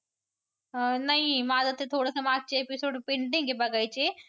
अं नाही माझं ते थोडसं मागचे episode pending आहे बघायचे.